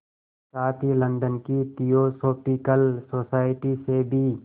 साथ ही लंदन की थियोसॉफिकल सोसाइटी से भी